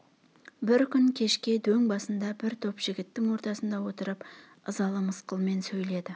бір күн кешке дөң басында бір топ жігіттің ортасында отырып ызалы мысқылмен сөйледі